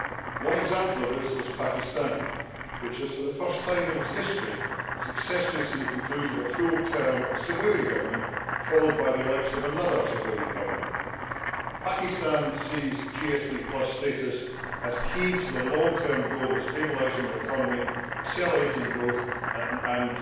One example of this is Pakistan, which is for the first time in its history successfully seeing the conclusion of a full term of a civilian government followed by the election of another civilian government. Pakistan sees GSP status as key to the long term goal of stabilising their economy, accelerating growth and